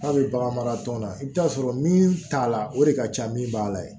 N'a bɛ bagan mara tɔn na i bɛ t'a sɔrɔ min t'a la o de ka ca min b'a la